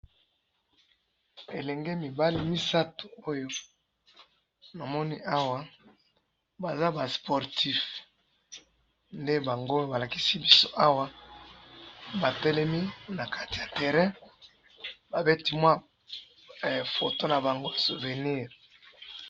Elenge mibali misatu oyo namoni awa, baza ba sportifs ,nde bango balakisi biso awa batelemi na kati ya terrain babeti mwa photo na bango souvenir